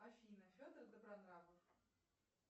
афина федор добронравов